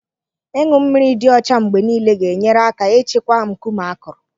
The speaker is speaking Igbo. Ịṅụ mmiri dị ọcha mgbe nile ga-enyere aka ịchịkwa nkume akụrụ